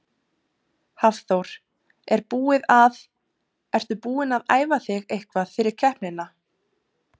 Hafþór: Er búið að, ertu búin að æfa þig eitthvað fyrir keppnina?